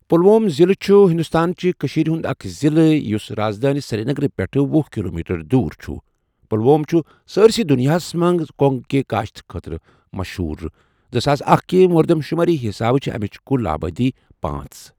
پُلوۄم ضِلہٕ چھُہ ہندوستان چہ کشیٖرِ ہُنٛد اَکھ ضِلہٕ یُس راز دٲنؠ سِریٖنَگَر پؠٹھ وہُ کلومیٹر دور چھُہ پُلوۄم چھُہ سٲرؠسی دُنیاہَس مَنٛز کۄنٛگہٕ کِہ کاشتَ خٲطرٕ مشہوٗر۔ زٕساس اکھَ کہِ مردم شمٲری حساب چھہٕ اَمِچ کُل آبٲدی پانژھ.